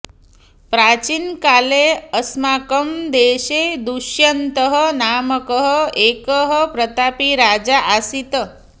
प्राचीनकाले अस्माकं देशे दुष्यन्तः नामकः एकः प्रतापी राजा आसीत्